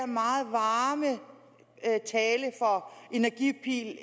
meget varme tale for energipil